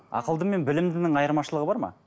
ақылды мен білімдінің айырмашылығы бар ма